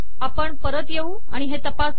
आपण परत येऊ आणि हे तपासू